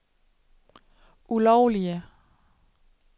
ulovlige